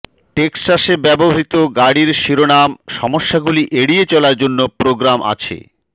টেক্সাসে ব্যবহৃত গাড়ির শিরোনাম সমস্যাগুলি এড়িয়ে চলার জন্য প্রোগ্রাম আছে